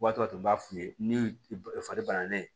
O waati tun b'a f'i ye ni fari banana ye